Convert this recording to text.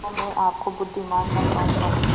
तो मैं आपको बुद्विमान न कहूँगा